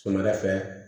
Sɔgɔmada fɛ